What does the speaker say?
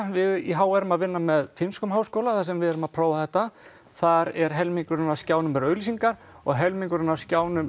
við í h r erum að finna með finnskum háskóla þar sem við erum að prófa þetta þar er helmingurinn af skjánum eru auglýsingar og helmingurinn af skjánum